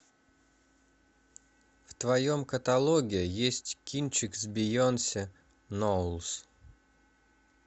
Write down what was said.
в твоем каталоге есть кинчик с бейонсе ноулз